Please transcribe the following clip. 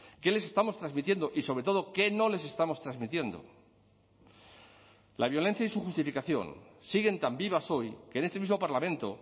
qué les estamos transmitiendo y sobre todo qué no les estamos transmitiendo la violencia y su justificación siguen tan vivas hoy que en este mismo parlamento